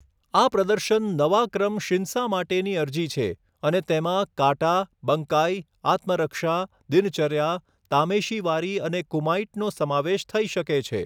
આ પ્રદર્શન નવા ક્રમ શિન્સા માટેની અરજી છે અને તેમાં કાટા, બંકાઈ, આત્મરક્ષા, દિનચર્યા, તામેશીવારી અને કુમાઇટનો સમાવેશ થઈ શકે છે.